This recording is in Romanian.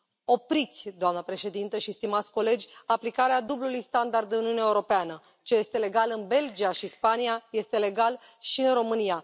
Opriți, doamnă președintă și stimați colegi, aplicarea dublului standard în Uniunea Europeană ce este legal în Belgia și Spania este legal și în România.